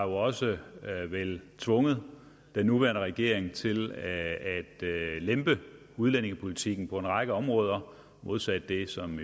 også tvunget den nuværende regering til at lempe udlændingepolitikken på en række områder modsat det som